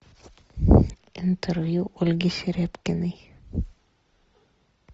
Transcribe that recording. интервью ольги серябкиной